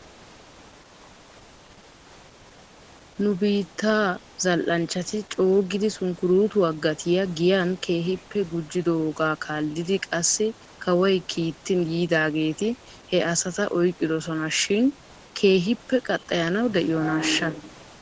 Nu biittaa zal"anchchati coogidi sunkuruutuwaa gatiyaa giyan keehippe gujjidoogaa kaallidi qassi kawoy kiittin yiidaageeti he asata oyqqidosona shin keehippe qaxxayanaw de'iyoonaashsha?